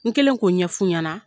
N kɛlen k'o ɲɛf'u ɲɛna